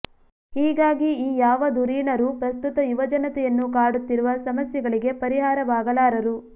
ಹೀಗಾಗಿ ಈ ಯಾವ ಧುರೀಣರೂ ಪ್ರಸ್ತುತ ಯುವಜನತೆಯನ್ನು ಕಾಡುತ್ತಿರುವ ಸಮಸ್ಯೆಗಳಿಗೆ ಪರಿಹಾರವಾಗಲಾರರು